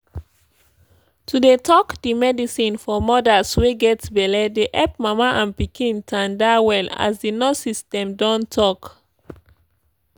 to dey take di medicine for modas wey get belle dey epp mama and pikin tanda well as di nurses dem don talk